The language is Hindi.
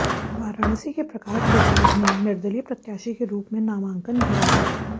वाराणसी के प्रकाश बजाज ने निर्दलीय प्रत्याशी के रूप में नामांकन भरा है